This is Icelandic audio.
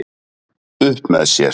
Upp með sér